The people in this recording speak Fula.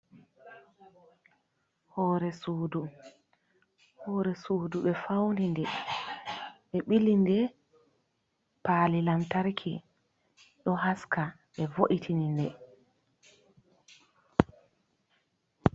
Hore sudu, hore sudu ɓe fauni nde ɓe ɓili nde pali lantarki ɗo haska, ɓe vo’itini nde.